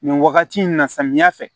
Nin wagati in na samiya fɛ